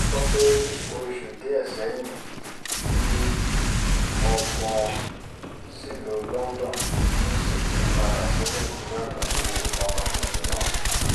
a gbọ́ pé oṣù díẹ̀ sẹ́yìn bí ọmọ sílùú london tó sì ti padà sí nàìjíríà pẹ̀lú ọmọ tuntun náà